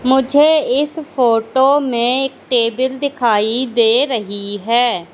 मुझे इस फोटो में एक टेबल दिखाई दे रही है।